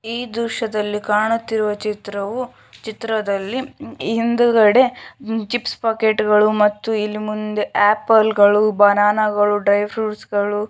ಈ ದೃಶ್ಯದಲ್ಲಿ ಕಾಣುತ್ತಿರುವ ಚಿತ್ರವು ಚಿತ್ರದಲ್ಲಿ ಹಿಂದುಗಡೆ ಚಿಪ್ಸ್ ಪ್ಯಾಕೆಟ್ ಗಳು ಮತ್ತು ಹಿಂದಿ ಮುಂದೆಗಡೆ ಆಪಲ್ ಗಳು ಬನಾನ ಗಳು ಡ್ರೈ ಫ್ರೂಟ್ಸ್ ಗಳು.